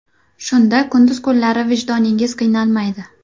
Shunda kunduz kunlari vijdoningiz qiynalmaydi.